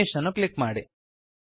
finish ಅನ್ನು click ಮಾಡಿ